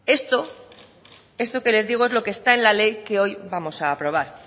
esto esto que les digo es lo que está en la ley que hoy vamos a aprobar